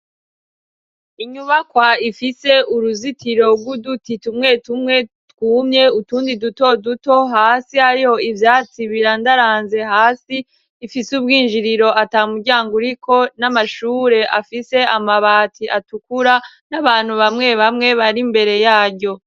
Inyubakwa ifise uruzitiro rw'uduti tumwe tumwe twumye, utundi duto duto hasi. Hariho ivyatsi birandaranze hasi. Ifise ubwinjiriro atamuryango uriko, n'amashure afise amabati atukura n'abantu bamwe bamwe bari imbere yaryo.